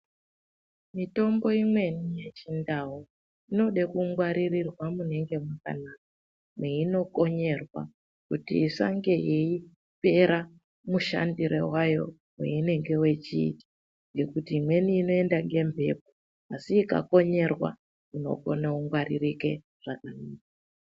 Mitombo imweni yechi ndau inode ku ngwaririrwa munenge makanaka meino konyerwa kuti isange yeipera mushandire wayo weinenge wechiita ngekuti imweni inoenda nge mbepo asi ika konyerwa inokone ku ngwaririke zvakanaka.